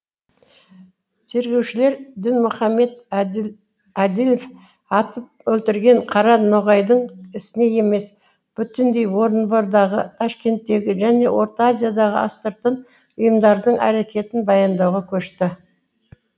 тергеушілер дінмұхамед әділев атып өлтірген қара ноғайдың ісіне емес бүтіндей орынбордағы ташкенттегі және орта азиядағы астыртын ұйымдардың әрекетін баяндауға көшті